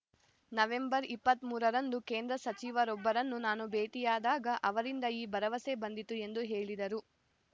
November ಇಪ್ಪತ್ತ್ ಮೂರ ರಂದು ಕೇಂದ್ರ ಸಚಿವರೊಬ್ಬರನ್ನು ನಾನು ಭೇಟಿಯಾದಾಗ ಅವರಿಂದ ಈ ಭರವಸೆ ಬಂದಿತು ಎಂದು ಹೇಳಿದರು